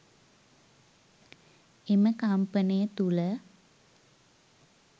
එම කම්පනය තුළ